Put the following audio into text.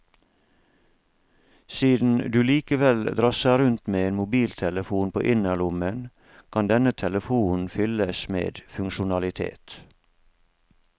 Siden du likevel drasser rundt med en mobiltelefon på innerlommen, kan denne telefonen fylles med funksjonalitet.